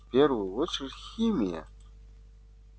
в первую очередь химия